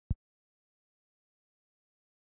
Þetta er mjög fúlt.